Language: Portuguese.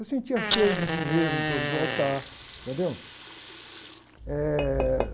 Eu sentia cheiro de dinheiro em torno do altar, entendeu?